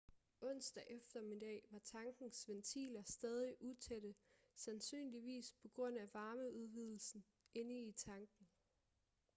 onsdag eftermiddag var tankens ventiler stadig utætte sandsynligvis på grund af varmeudvidelsen inde i tanken